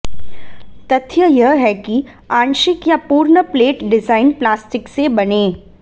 तथ्य यह है कि आंशिक या पूर्ण प्लेट डिजाइन प्लास्टिक से बने